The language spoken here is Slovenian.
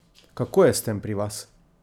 Kako je s tem pri vas?